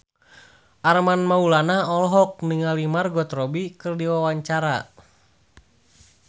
Armand Maulana olohok ningali Margot Robbie keur diwawancara